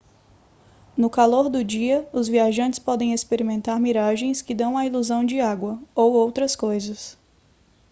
no calor do dia os viajantes podem experimentar miragens que dão a ilusão de água ou outras coisas